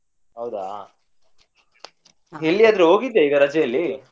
ಹೌದಾ ಹೋಗಿದ್ಯಾ ರಜೆ ಅಲ್ಲಿ?